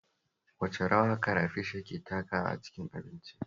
Wace rawa karafish yake takawa a cikin abinci?